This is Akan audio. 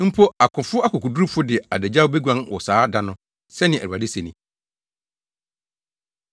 Mpo akofo akokodurufo de adagyaw beguan wɔ saa da no,” sɛnea Awurade se ni.